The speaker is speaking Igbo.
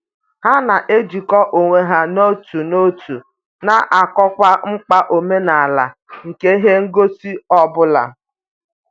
Ha na-ejikọ onwe ha n'otu n'otu na-akọwa mkpa omenala nke ihe ngosi ọ bụla.